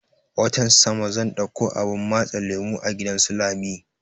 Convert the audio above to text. Watan sama zan ɗauko abun matse lemo a gidan su lami